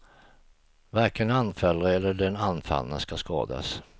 Varken anfallare eller den anfallne ska skadas.